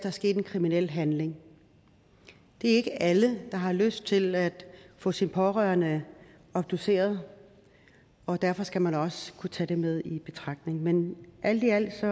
er sket en kriminel handling det er ikke alle der har lyst til at få sine pårørende obduceret og derfor skal man også kunne tage det med i betragtningerne men alt i alt